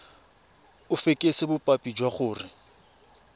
o fekese bopaki jwa gore